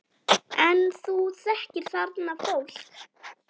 En þú þekkir þarna fólk?